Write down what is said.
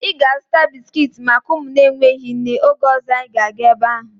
Ị ga-azụta bisiki maka ụmụ na-enweghị nne oge ọzọ anyị ga-aga ebe ahụ